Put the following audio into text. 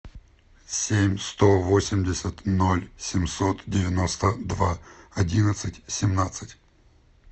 семь сто восемьдесят ноль семьсот девяносто два одиннадцать семнадцать